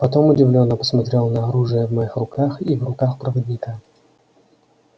потом удивлённо посмотрел на оружие в моих руках и в руках проводника